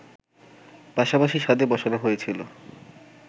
পাশাপাশি ছাদে বসানো হয়েছিল